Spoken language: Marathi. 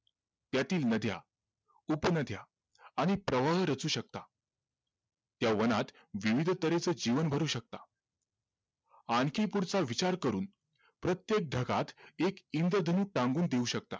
त्यातील नद्या, उपनद्या आणि प्रवळ रचू शकतात त्या वनात विविध तऱ्हेचं जीवन भरू शकता आणखी पुढचा विचार करून प्रत्येक ढगात एक इंद्रधनू टांगून देऊ शकता